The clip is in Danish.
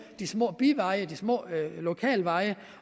de små biveje de små lokale veje